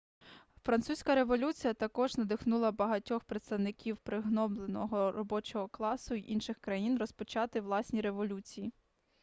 французька революція також надихнула багатьох представників пригнобленого робочого класу інших країн розпочати власні революції